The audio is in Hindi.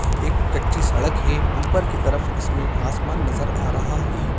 एक कच्ची सड़क है ऊपर की तरफ इसमें आसमान नज़र आ रहा है।